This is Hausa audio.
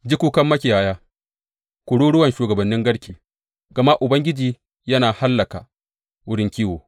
Ji kukan makiyaya, kururuwan shugabannin garke, gama Ubangiji yana hallaka wurin kiwo.